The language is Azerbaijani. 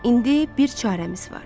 İndi bir çarəmiz var.